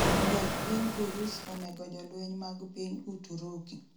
ndek piny urus onego jolweny mag piny uturuki